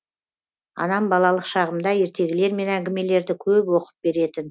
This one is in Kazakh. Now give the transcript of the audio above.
анам балалық шағымда ертегілер мен әңгімелерді көп оқып беретін